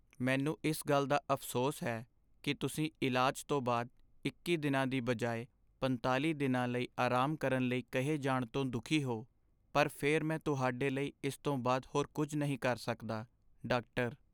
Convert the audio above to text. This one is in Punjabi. ਮੈਨੂੰ ਇਸ ਗੱਲ ਦਾ ਅਫ਼ਸੋਸ ਹੈ ਕੀ ਤੁਸੀਂ ਇਲਾਜ ਤੋਂ ਬਾਅਦ ਇੱਕੀ ਦਿਨਾਂ ਦੀ ਬਜਾਏ ਪੰਤਾਲ਼ੀ ਦਿਨਾਂ ਲਈ ਆਰਾਮ ਕਰਨ ਲਈ ਕਹੇ ਜਾਣ ਤੋਂ ਦੁੱਖੀ ਹੋ, ਪਰ ਫਿਰ ਮੈਂ ਤੁਹਾਡੇ ਲਈ ਇਸ ਤੋਂ ਬਾਅਦ ਹੋਰ ਕੁੱਝ ਨਹੀਂ ਕਰ ਸਕਦਾ ਡਾਕਟਰ